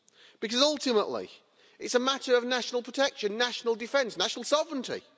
because, ultimately, it's a matter of national protection, national defence and national sovereignty.